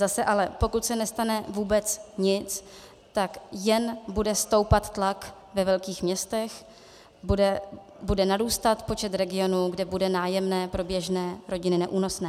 Zase ale pokud se nestane vůbec nic, tak jen bude stoupat tlak ve velkých městech, bude narůstat počet regionů, kde bude nájemné pro běžné rodiny neúnosné.